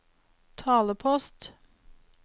talepost